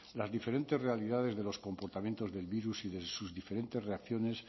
las diferentes realidades de los comportamientos del virus y de sus diferentes reacciones